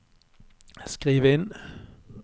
skriv inn